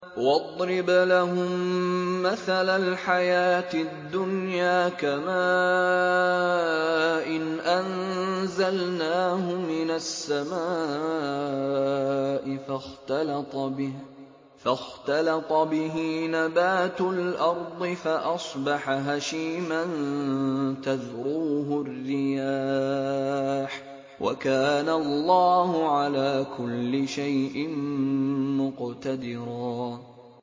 وَاضْرِبْ لَهُم مَّثَلَ الْحَيَاةِ الدُّنْيَا كَمَاءٍ أَنزَلْنَاهُ مِنَ السَّمَاءِ فَاخْتَلَطَ بِهِ نَبَاتُ الْأَرْضِ فَأَصْبَحَ هَشِيمًا تَذْرُوهُ الرِّيَاحُ ۗ وَكَانَ اللَّهُ عَلَىٰ كُلِّ شَيْءٍ مُّقْتَدِرًا